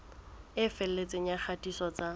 e felletseng ya kgatiso tsa